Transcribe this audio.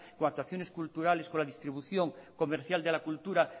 o actuaciones culturales con la distribución comercial de la cultura